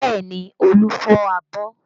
Bẹẹ ni, Olu fọ abọ́